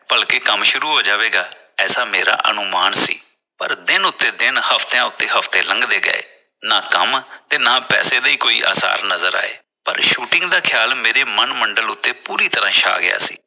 ਭਲਕੇ ਕੰਮ ਸ਼ੁਰੂ ਹੋ ਜਾਵੇਗਾ ਐਸਾ ਮੇਰਾ ਅਨੁਮਾਨ ਸੀ ਪਰ ਦਿਨ ਉਤੇ ਦਿਨ ਹਫਤਿਆਂ ਉਤੇ ਹਫਤੇ ਨੰਗਦੇ ਗਏ ਨਾ ਕੰਮ ਨਾ ਪੈਸੇ ਦਾ ਕੋਈ ਆਸਾਰ ਨਜ਼ਰ ਆਏ ਪਰ shooting ਦਾ ਖਿਆਲ ਮੇਰੇ ਮਨ ਮੰਡਲ ਉਤੇ ਪੂਰੀ ਤਰ੍ਹਾਂ ਛਾ ਗਿਆ ਸੀ।